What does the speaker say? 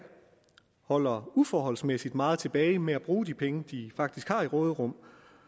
holder uforholdsmæssigt meget tilbage med at bruge de penge de faktisk har i råderum